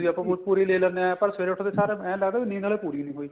ਨੀਂਦ ਵੀ ਪੂਰੀ ਲੈ ਲੈਨੇ ਆ ਪਰ ਸਵੇਰੇ ਉਠਦੇ ਸਾਰ ਇਹ ਲੱਗਦਾ ਨੀਂਦ ਹਲੇ ਪੂਰੀ ਨੀ ਹੋਈ